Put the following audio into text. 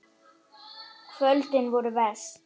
Kvöldin voru verst.